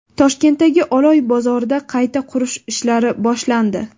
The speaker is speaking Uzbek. Toshkentdagi Oloy bozorida qayta qurish ishlari boshlandi.